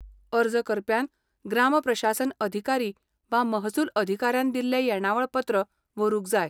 अर्ज करप्यान ग्राम प्रशासन अधिकारी वा महसूल अधिकाऱ्यान दिल्लें येणावळ पत्र व्हरूंक जाय.